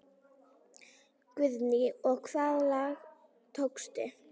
Guðný: Og hvaða lag tókstu?